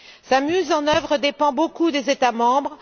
Sa mise en œuvre dépend beaucoup des États membres.